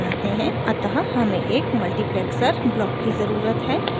अतः हमें एक multiplexer ब्लॉक की ज़रुरत है